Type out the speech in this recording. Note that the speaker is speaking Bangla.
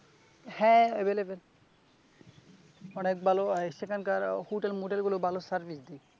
হ্যাঁ, available অনেক ভালো সেখানকার হোটেল মোটেল গুলো ভাল service দেয় ।